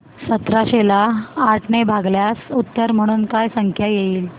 सतराशे ला आठ ने भागल्यास उत्तर म्हणून काय संख्या येईल